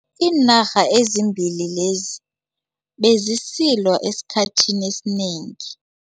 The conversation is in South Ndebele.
Iinarha ezimbili lezi bezisilwa esikhathini esinengi.